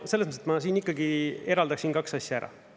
Selles mõttes ma siin ikkagi eraldaksin kaks asja ära.